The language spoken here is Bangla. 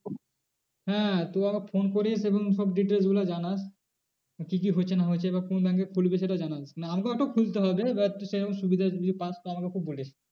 হ্যাঁ তুই আমাকে phone করিস এবং সব details গুলো জানাস কি কি হচ্ছে না হচ্ছে এবার কোন bank এ খুলবি সেটাও জানাবি। মানে আমাকেও একটা খুলতে হবে এবার তো সেরকম সুবিধা যদি পাশ তো আমাকে বলিস।